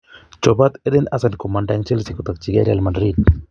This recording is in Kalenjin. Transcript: Chopot Eden Hazard komanda en Chelsea kotokige Real madrid.